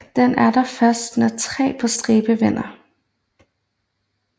Den der først når tre på stribe vinder